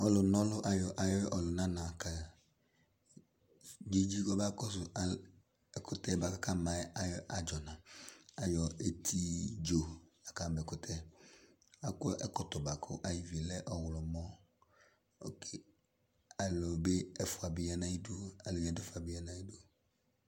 Ɔlʋna ɔlʋ ayɔ ayu ɔlʋnana kadzidzi kɔbakɔsʋ ɛkʋtɛ boa kʋ akama yɛ ayu adzɔna Ayɔ eti dzo la kama ɛkʋtɛ yɛ Akɔ ɛkɔtɔ boa kʋ ayi vi lɛ ɔwlɔmɔ Oke alʋ bi ɛfua bi ya nʋ ayidu, alʋ yadu fa bi ya nʋ ayidu